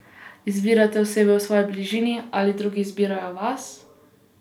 Izbirate osebe v svoji bližini ali drugi izbirajo vas?